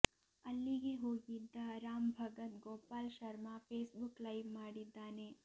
ಅಲ್ಲಿಗೆ ಹೋಗಿದ್ದ Ram Bhagat Gopal Sharma Facebook live ಮಾಡಿದ್ದಾನೆ